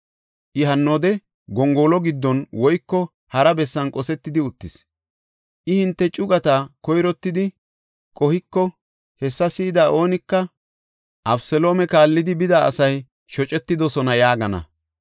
I hannoode gongolo giddon woyko hara bessan qosetidi uttis. I hinte cugata koyrottidi qohiko, hessa si7ida oonika, ‘Abeseloome kaallidi bida asay shocetidosona’ yaagana.